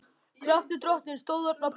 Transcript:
Kraftur Drottins stóð þarna á bak við.